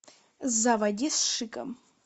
заводи с шиком